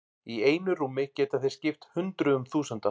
Í einu rúmi geta þeir skipt hundruðum þúsunda.